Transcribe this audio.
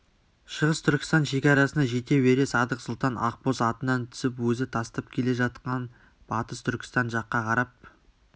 шығыс түркістан шекарасына жете бере садық сұлтан ақбоз атынан түсіп өзі тастап келе жатқан батыс түркістан жаққа қарап